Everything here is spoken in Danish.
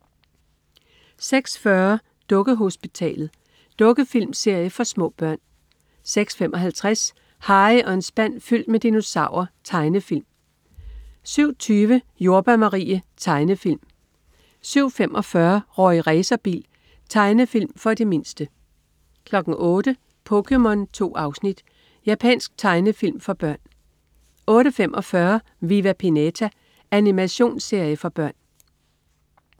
06.40 Dukkehospitalet. Dukkefilmserie for små børn 06.55 Harry og en spand fyldt med dinosaurer. Tegnefilm 07.20 Jordbær Marie. Tegnefilm 07.45 Rorri Racerbil. Tegnefilm for de mindste 08.00 POKéMON. 2 afsnit. Japansk tegnefilm for børn 08.45 Viva Pinata. Animationsserie for børn